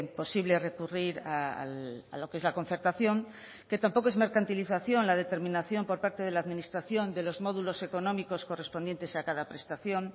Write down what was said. posible recurrir a lo que es la concertación que tampoco es mercantilización la determinación por parte de la administración de los módulos económicos correspondientes a cada prestación